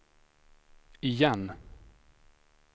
igen